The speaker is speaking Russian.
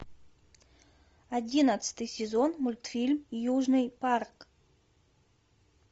одиннадцатый сезон мультфильм южный парк